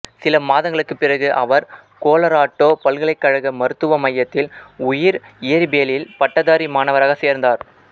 சில மாதங்களுக்குப் பிறகு அவர் கொலராடோ பல்கலைக்கழக மருத்துவ மையத்தில் உயிர் இயற்பியலில் பட்டதாரி மாணவராக சேர்ந்தார்